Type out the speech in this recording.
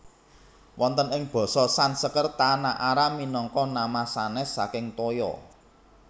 Wonten ing basa Sanskerta Naara minangka nama sanès saking toya